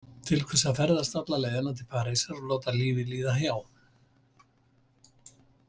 Til hvers að ferðast alla leiðina til Parísar og láta lífið líða hjá?